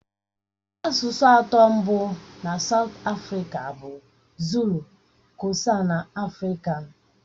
Asụsụ atọ mbụ na Saụt Afrịka bụ Zulu, Kosa na afrikan.